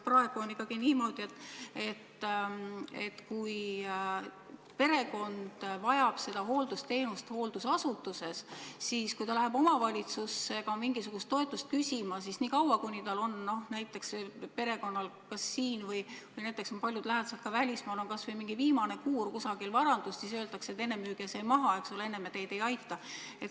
Praegu on ikkagi niimoodi, et kui keegi vajab kohta hooldusasutuses, siis kui tema lähedane läheb omavalitsusse mingisugust toetust küsima, siis on nii, et kui perekonnal on Eestis – ja paljudel on lähedased ka välismaal – kas või mingi kuur kusagil, mingit vara, siis öeldakse, et kõigepealt müüge see maha, eks ole, enne me teid ei aita.